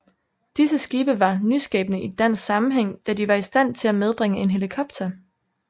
Disse skibe var nyskabende i dansk sammenhæng da de var i stand til at medbringe en helikopter